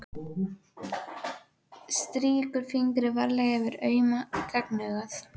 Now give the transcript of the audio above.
Strýkur fingri varlega yfir auma gagnaugað.